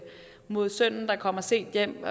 mod sønnen der kommer sent hjem og